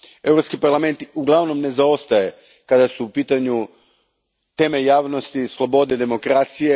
Europski parlament uglavnom ne zaostaje kada su u pitanju teme javnosti, slobode, demokracije.